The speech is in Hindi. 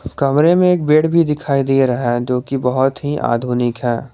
कमरे में एक बेड भी दिखाई दे रहा है जोकि बहुत ही आधुनिक है।